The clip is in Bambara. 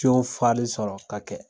fali sɔrɔ ka kɛ